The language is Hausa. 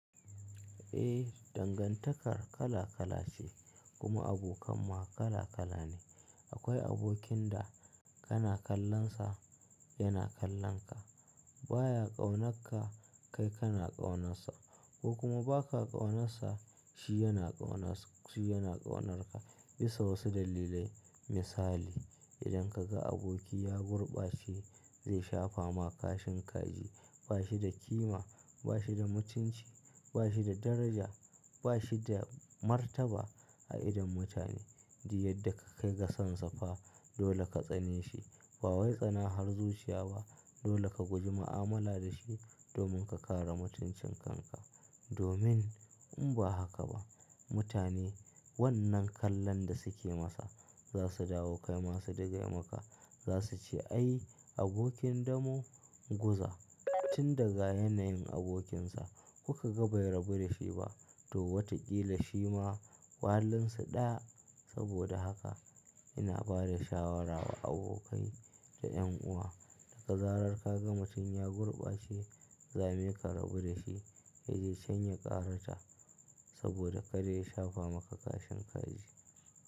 Eh, dangantakar kala kala ce kuma abokan ma kala kala ne. Akwai abokin da kana kallon sa, yana kallon ka. Baya ƙaunarka kai kana ƙaunansa ko kuma ba ka ƙaunansa shi yana ƙaunarka. Bisa wasu dalilai misali idan ka ga aboki ya gurbace zai shafa ma kashin kaji. Ba shi da kima, ba shi da mutunci, ba shi da daraja, ba shi da martaba a idon mutane. Duk yadda ka kai ga sansa fa dole ka tsane shi. Ba wai tsana har zuciya ba. Dole ka guji mu'amala da shi domin ka kare mutuncin kanka. Domin in ba haka ba mutane wannan kallon da suke masa za su dawo kai masu digai maka. Za su ce ai abokin damo guza tun daga yanayin abokinsa kuka ga bai rabu da shi ba. To wataƙila shi ma walinsu ɗaya." Saboda haka ina ba da shawara wa abokai da ƴan uwa da zarar ka ga mutum ya gurbace zame ka rabu da shi. Yaje chan ya ƙarata saboda kada ya shafa maka kashin kaji.